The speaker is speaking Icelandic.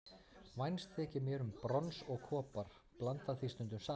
Vænst þykir mér um brons og kopar, blanda því stundum saman.